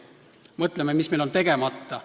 Mõtleme, mis meil on tegemata.